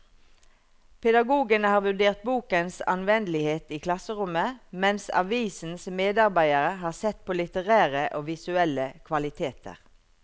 Pedagogene har vurdert bokens anvendelighet i klasserommet, mens avisens medarbeidere har sett på litterære og visuelle kvaliteter.